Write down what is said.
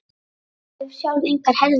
Ég hef sjálf engar herðar.